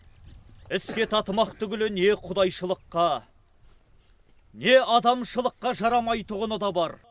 іске татымақ түгілі не құдайшылыққа не адамшылыққа жарамайтұғыны да бар